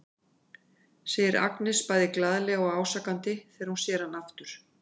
segir Agnes bæði glaðlega og ásakandi þegar hún sér hann aftur.